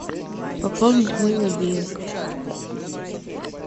пополнить мой мобильник